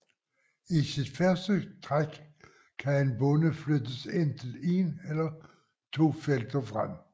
I sit første træk kan en bonde flyttes enten ét eller to felter frem